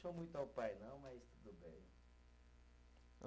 muito ao pai, não, mas tudo bem.